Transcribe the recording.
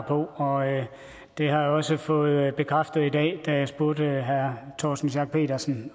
på og det har jeg også fået bekræftet i dag da jeg spurgte herre torsten schack pedersen